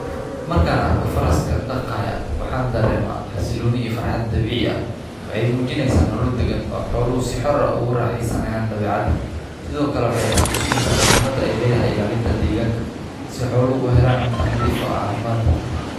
Markaan arkay faraska dhaqaya waxaan dareema xasiluunii farxad dabiic ah. Way muujinaysa nolodegan oo xoolo si xorro ugu raaxaysanayaan dabeecada. Sidoo kale way xusuusinaysaa muhiimada ay leedahay ilaalinta deegaanka si xoolo u helaan cunto nadiif ah oo caafimaad ah.